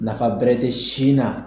Nafa bɛrerete sin na